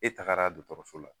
E tagara dɔgɔtɔrɔso la